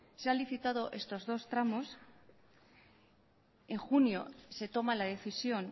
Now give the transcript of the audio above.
se ha licitado estos dos tramos en junio se toma la decisión